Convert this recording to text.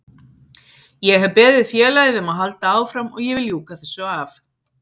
Ég hef beðið félagið um að halda áfram og ég vil ljúka þessu af.